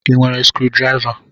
I nwere sukudiriva?